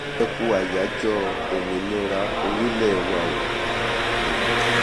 ẹ kú ayájọ́ òmìnira orílẹ wa o um